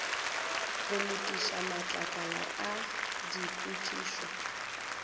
go lokiša matlakala a dipotšišo